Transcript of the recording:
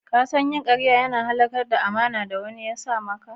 Ka san yin kariya na iya halakar da amana da wani ya sa maka?